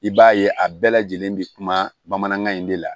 I b'a ye a bɛɛ lajɛlen be kuma bamanankan in de la